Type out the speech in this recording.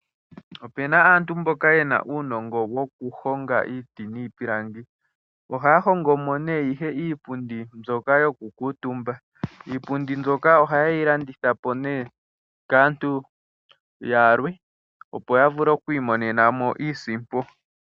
Opena aantu mboka yena uunongo wokuhonga iiti niipilangi. Ohaya hongo mo nee ihe iipundi mbyoka yokukuutumba. Iipundi mbyoka ohaye yi landitha po nee kaantu yalwe opo vule okwiimonena mo iisimpo.